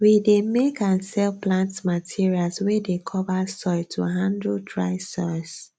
we dey make and sell plant materials wey dey cover soil to handle dry soils